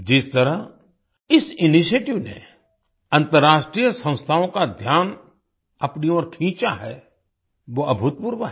जिस तरह इस इनिशिएटिव ने अंतर्राष्ट्रीय संस्थाओ का ध्यान अपनी ओर खींचा है वो अभूतपूर्व है